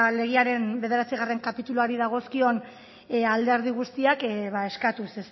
legearen bederatzigarren kapituluari dagozkion alderdi guztiak ba eskatuz